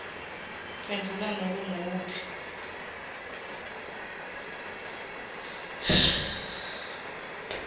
phendvula nobe nguwuphi